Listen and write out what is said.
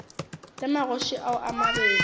le magoši ao a mabedi